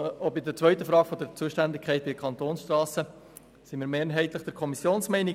Bei der Frage der Zuständigkeit bei den Kantonsstrassen teilen wir mehrheitlich die Kommissionsmeinung.